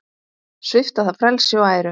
Svipta það frelsi og æru.